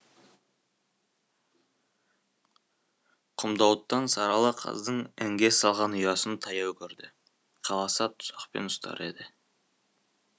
құмдауыттан сарала қаздың інге салған ұясын таяу көрді қаласа тұзақпен ұстар еді